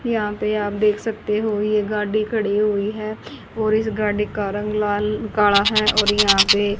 यहां पे आप देख सकते हो ये गाड़ी खड़ी हुई है और इस गाड़ी का रंग लाल काला है और यहां पे--